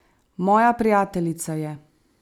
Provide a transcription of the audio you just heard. Moja prijateljica je.